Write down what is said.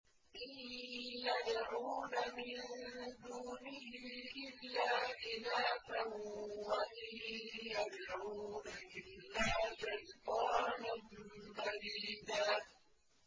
إِن يَدْعُونَ مِن دُونِهِ إِلَّا إِنَاثًا وَإِن يَدْعُونَ إِلَّا شَيْطَانًا مَّرِيدًا